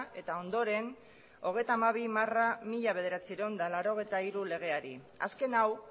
eta ondoren hogeita hamabi barra mila bederatziehun eta laurogeita hiru legeari azken hau